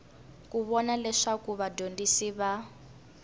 ku vona leswaku vadyondzi va